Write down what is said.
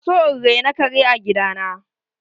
Zan so in raina kare a gida na.